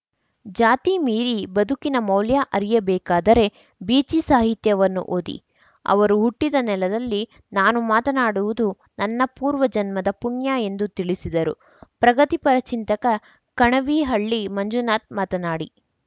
ಜಾತಿ ಮೀರಿ ಬದುಕಿನ ಮೌಲ್ಯ ಅರಿಯಬೇಕಾದರೆ ಬೀಚಿ ಸಾಹಿತ್ಯನ್ನು ಓದಿ ಅವರು ಹುಟ್ಟಿದ ನೆಲದಲ್ಲಿ ನಾನು ಮಾತನಾಡುವುದು ನನ್ನ ಪೂರ್ವಜನ್ಮದ ಪುಣ್ಯ ಎಂದು ತಿಳಿಸಿದರು ಪ್ರಗತಿಪರ ಚಿಂತಕ ಕಣಿವಿಹಳ್ಳಿ ಮಂಜುನಾಥ್‌ ಮಾತನಾಡಿ